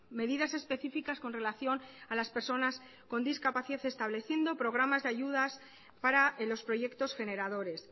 medidas específicas con relación a las personas con discapacidad estableciendo programas de ayudas para los proyectos generadores